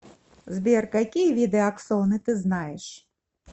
сбер какие виды аксоны ты знаешь